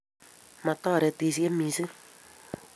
Metoretishei mising